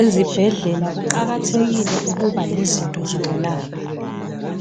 Izibhedlela kuqakathekile ukuba lezinto zokwelapha